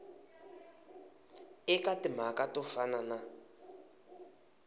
eka timhaka to fana na